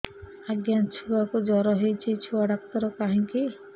ଆଜ୍ଞା ଛୁଆକୁ ଜର ହେଇଚି ଛୁଆ ଡାକ୍ତର କାହିଁ କି